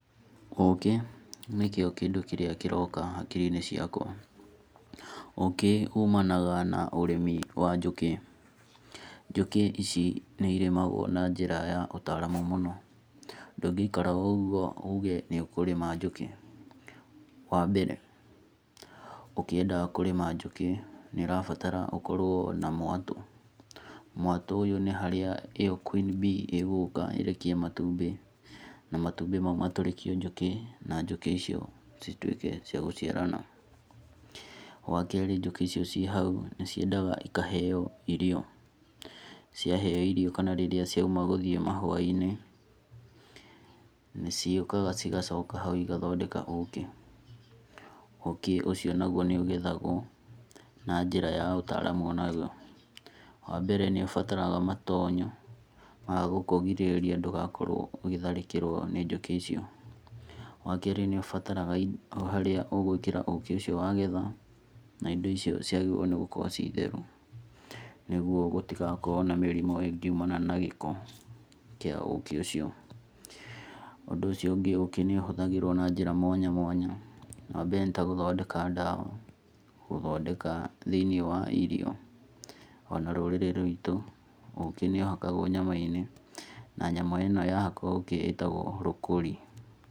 Ũkĩ nĩkĩo kĩndũ kĩrĩa kĩroka hakiri-inĩ ciakwa. Ũkĩ umanaga na ũrĩmi wa njũkĩ. Njũkĩ ici nĩ irĩmagwo na njĩra ya ũtaramu mũno, ndũngĩikraga o ũgwo uge nĩ ũkũrĩma njũkĩ. Wa mbere ũkĩenda kũrĩma njũkĩ nĩ ũrabatara ũkorwo na mwatũ, mwatũ ũyũ nĩ harĩa ĩyo Queenbee ĩgũka ĩrekie matumbĩ na matumbĩ mau matũrĩkio njũkĩ na njũkĩ icio cituĩke cia gũciarana. Wa kerĩ njũkĩ icio cihau nĩ ciendaga ikaheo irio. Cia heo irio kana rĩrĩa cia uma gũthiĩ mahua-inĩ nĩ cĩukaga igacoka hau igathondeka ũkĩ. Ũkĩ ũcio nagwo nĩ ũgethagwo na njira ya ũtaramu onagwo. Wa mbere nĩ ũbarataraga matonyo magũkũgirĩrĩa ndũgakorwo ũgĩtharĩkĩrwo nĩ njũkĩ icio. Wa keri nĩ bataraga haria ũgũĩkira ũkĩ ũcio wagetha na indo icio ciagĩrĩrwo nĩ gũkorwo citheru. Nĩguo gũtigakorwo na mĩrimũ ĩngiumana na gĩko kĩa ũkĩ ũcio. Ũndũ ũcio ũngĩ ũkĩ nĩ ũhũthagĩrwo na njĩra mwanya mwanya. Wa mbere nĩ tagũthondeka ndawa, thĩiniĩ wa irio. Ona rũrĩrĩ rwĩtũ ũkĩ nĩ ũhakagwo nyama-inĩ na nyama ĩno yahakwo ũkĩ ĩtagwo rũkũri.